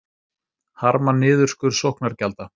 Harma niðurskurð sóknargjalda